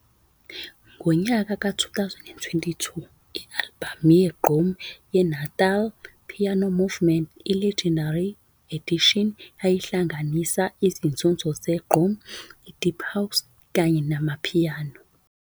Ngo-2022, i-albhamu ye-Igqom ye-Natal Piano Movement, i-"Legendary Edition" yayihlanganisa izinzuzo zezigqom, i-Deep House, kanye ne-Amapiano.